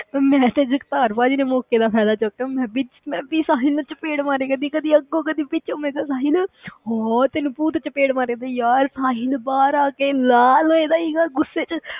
ਮੈਂ ਤੇ ਜਗਤਾਰ ਭਾਜੀ ਨੇ ਮੌਕੇ ਦਾ ਫ਼ਾਇਦਾ ਚੁੱਕਿਆ ਮੈਂ ਵੀ ਮੈਂ ਵੀ ਸਾਹਿਲ ਨੂੰ ਚਪੇੜ ਮਾਰਿਆ ਕਰਦੀ ਕਦੇ ਅੱਗੋਂ ਕਦੇ ਪਿੱਛੋਂ, ਮੈਂ ਕਿਹਾ ਸਾਹਿਲ ਹਾਂ ਤੈਨੂੰ ਭੂਤ ਚਪੇੜ ਮਾਰਦੀ ਯਾਰ ਸਾਹਿਲ ਬਾਹਰ ਆ ਕੇ ਲਾਲ ਹੋ ਗਿਆ ਸੀਗਾ ਗੁੱਸੇ ਵਿੱਚ